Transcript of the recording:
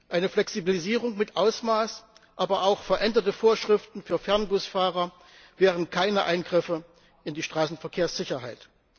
Eine Flexibilisierung mit Augenmaß, aber auch veränderte Vorschriften für Fernbusfahrer wären keine Eingriffe in die Straßenverkehrssicherheit.